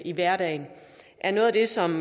i hverdagen er noget af det som